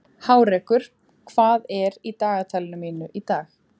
Hárekur, hvað er í dagatalinu mínu í dag?